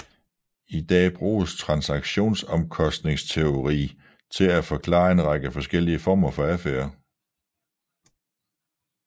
I dag bruges transaktionsomkostningsteori til at forklare en række forskellige former for adfærd